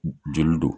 Joli don